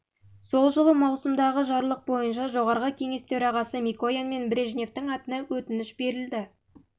жылы маусымдағы жарлық бойынша жоғарғы кеңес төрағасы микоян мен брежневтің атына өтініш берілді